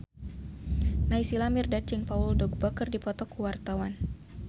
Naysila Mirdad jeung Paul Dogba keur dipoto ku wartawan